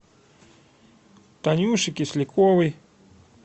танюши кисляковой